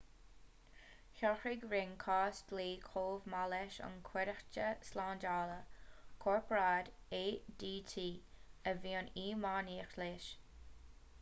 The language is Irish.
shocraigh ring cás dlí chomh maith leis an gcuideachta slándála corparáid adt a bhí in iomaíocht leis